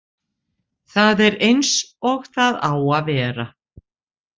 Það er eins og það á að vera.